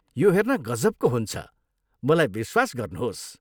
यो हेर्न गजबको हुन्छ, मलाई विश्वास गर्नुहोस्।